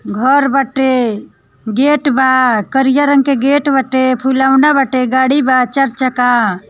घर बाटे गेट बा करिया रंग के गेट बांटे फुलाउना बाटे गाड़ी बा चार चक्का--